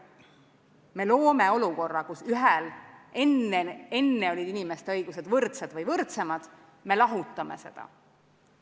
Me loome olukorra, kus enne olid inimeste õigused võrdsed või võrdsemad, me lahutame seda.